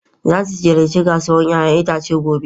Za ku ziyarci kasuwar 'ya'yan itace gobe.